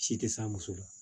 Si tɛ se a muso la